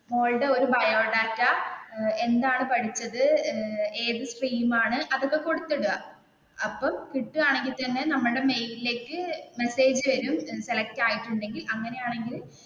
മോൾടെ ഒരു ബയോഡേറ്റ എന്താണ് പഠിച്ചത് ഏത് സ്ട്രീംആണ് അതൊക്കെ കൊടുത്തിടുക അപ്പൊ കിട്ടുവാണെകിൽ തന്നെ നമ്മുടെ മൈലിലേക്ക് മെസ്സേജ് വരും, സെലക്ട് ആയിട്ടുണ്ടെങ്കിൽ അങ്ങനെയാണെങ്കിൽ